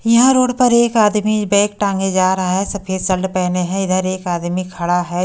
यहां रोड पर एक आदमी बैक टांगे जा रहा है सफेद शल्ड पहने है इधर एक आदमी खड़ा है।